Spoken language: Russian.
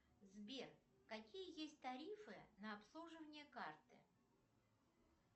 сбер какие есть тарифы на обслуживание карты